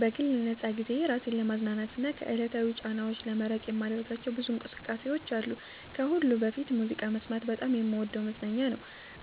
በግል ነፃ ጊዜዬ ራሴን ለማዝናናትና ከዕለታዊ ጫናዎች ለመራቅ የማደርጋቸው ብዙ እንቅስቃሴዎች አሉ። ከሁሉ በፊት ሙዚቃ መስማት በጣም የምወደው መዝናኛ ነው።